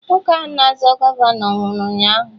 Nwoke ahụ na-azọ gọvanọ nwụrụ ụnyaahụ